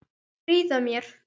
Stríða mér.